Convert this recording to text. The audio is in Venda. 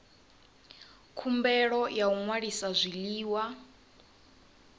khumbelo ya u ṅwalisa zwiḽiwa